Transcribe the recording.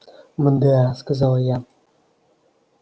мда сказала я